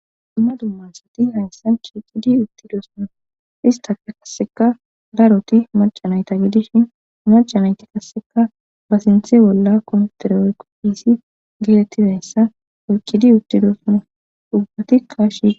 duma duma asati hayssan shiqidi uttidoosna izetafe qaseka daaroti macanayta gidishin macanayti kasseka ba sinthe bolla komtere oyqopisi geetettidayssa urkidi uttidoosne ubbatikka shi